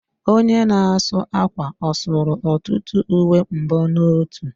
Onye na-asa ákwà ọ sụrụ ọtụtụ uwe mbonotu?